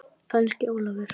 Kannski Ólafur.